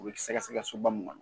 U be sɛgɛsɛgɛ soba min ŋɔnɔ